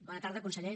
bona tarda conseller